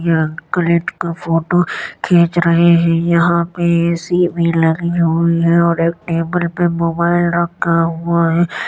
ये अंकल एक का फोटो खींच रहे है। यहाँ पे ए.सी. भी लगी हुई है और एक टेबल पे मोबाईल रखा हुआ है।